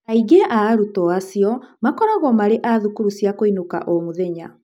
Aingĩ a arutwo acio makoragwo marĩ a thukuru cia kũinũka o-mũthenya.